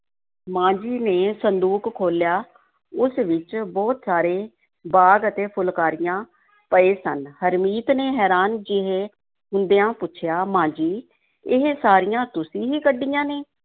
ਮਾਂ ਜੀ ਨੇ ਸੰਦੂਕ ਖੋਲ੍ਹਿਆ, ਉਸ ਵਿੱਚ ਬਹੁਤ ਸਾਰੇ ਬਾਗ਼ ਅਤੇ ਫੁਲਕਾਰੀਆਂ ਪਏ ਸਨ, ਹਰਮੀਤ ਨੇ ਹੈਰਾਨ ਜਿਹੇ ਹੁੰਦਿਆਂ ਪੁੱਛਿਆ, ਮਾਂ ਜੀ ਇਹ ਸਾਰੀਆਂ ਤੁਸੀਂ ਹੀ ਕੱਢੀਆਂ ਨੇ?